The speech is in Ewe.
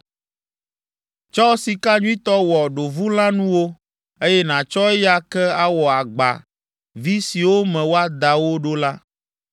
Tsɔ sika nyuitɔ wɔ ɖovulãnuwo, eye nàtsɔ eya ke awɔ agba vi siwo me woada wo ɖo la.